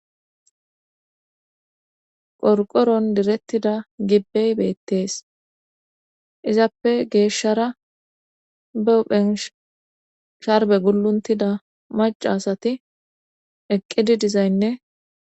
qorqoron direttida gibbey beettees izappe geeshshara buphensh sharbe gulluntida mac asati eqqidi dizaynne